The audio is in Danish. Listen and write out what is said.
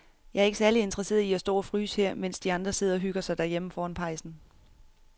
Jeg er ikke særlig interesseret i at stå og fryse her, mens de andre sidder og hygger sig derhjemme foran pejsen.